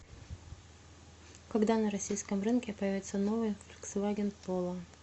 когда на российском рынке появится новый фольксваген поло